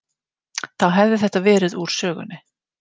Þá hefði þetta verið úr sögunni.